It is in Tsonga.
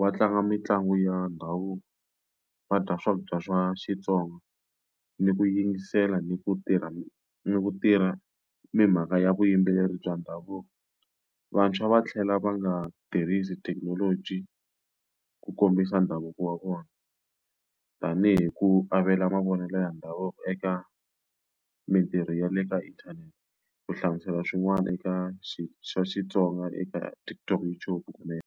va tlanga mitlangu ya ndhavuko, va dya swakudya swa Xitsonga, ni ku yingisela ni ku tirha ni ku tirha timhaka ya vuyimbeleri bya ndhavuko. Vantshwa va tlhela va nga tirhisi thekinoloji ku kombisa ndhavuko wa vona, tanihi ku avela mavonelo ya ndhavuko eka mitirho ya le ka inthanete, ku hlamusela swin'wana eka swa Xitsonga eka TikTok YouTube kumbe.